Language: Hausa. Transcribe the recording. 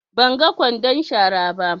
Ban ga ƙwandon shara ba.